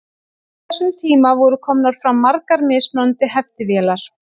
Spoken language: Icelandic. Á þessum tíma voru komnar fram margar mismunandi heftivélar.